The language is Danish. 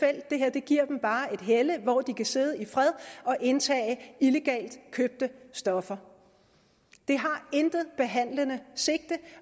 det her giver dem bare et helle hvor de kan sidde i fred og indtage illegalt købte stoffer det har intet behandlende sigte